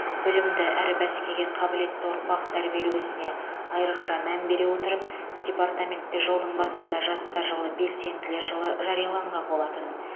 білімді әрі бәсекеге қабілетті ұрпақ тәрбиелеу ісіне айрықша мән бере отырып департаментте жылдың басында жастар жылы белсенділер жылы жарияланған болатын